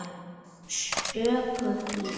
stöku flík.